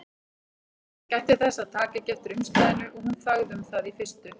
Hann gætti þess að taka ekki eftir umslaginu og hún þagði um það í fyrstu.